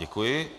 Děkuji.